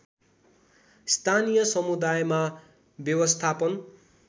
स्थानीय समुदायमा व्यवस्थापन